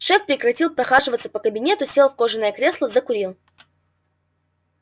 шеф прекратил прохаживаться по кабинету сел в кожаное кресло закурил